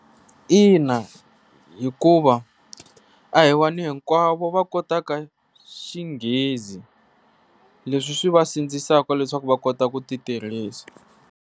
Ina, hikuva a hi vanhu hinkwavo va kotaka xinghezi leswi swi vasindzisaka leswaku va kota ku ti tirhisa.